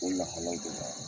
O lahalaw